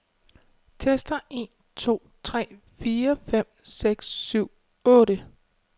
Tester en to tre fire fem seks syv otte.